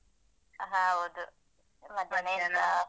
ಹೌದು. ಮಧ್ಯಾಹ್ನ ಎಂತ.